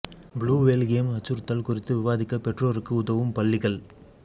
blue whale game அச்சுறுத்தல் குறித்து விவாதிக்க பெற்றோருக்கு உதவும் பள்ளிகள்